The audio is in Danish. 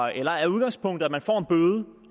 eller er udgangspunktet at man får en bøde